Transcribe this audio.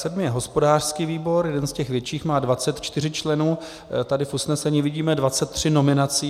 Sedmý je hospodářský výbor, jeden z těch větších, má 24 členů, tady v usnesení vidíme 23 nominací.